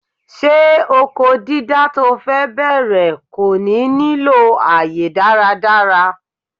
Ṣé oko dídá to fe bẹ̀rẹ̀ kò ní nílò àyè dáradára?